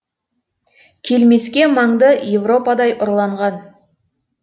келмеске маңды европадай ұрланған